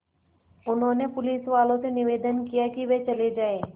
उन्होंने पुलिसवालों से निवेदन किया कि वे चले जाएँ